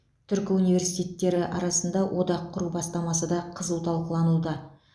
түркі университеттері арасында одақ құру бастамасы да қызу талқылануда